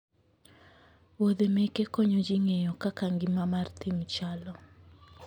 wuodhe meke konyo ji ng'eyo kaka ngima mar thim chalo